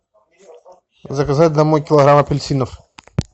заказать домой килограмм апельсинов